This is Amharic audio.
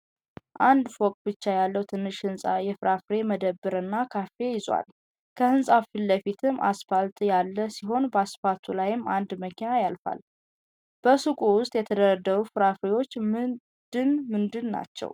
አንድ ፎቅ ብቻ ያለው ትንሽ ህንጻ የፍራፍሬ መደብር እና ካፌ ይዟል። ከህንጻው ፊትለፊትም አስፓልት ያለ ሲሆን በአስፓልቱ ላይም አንድ መኪና ያልፋል። በሱቁ ዉስጥ የተደረደሩት ፍራፍሬዎች ምንድን ምንድን ናቸው?